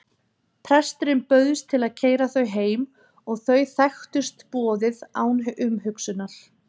Presturinn bauðst til að keyra þau heim og þau þekktust boðið án umhugsunar.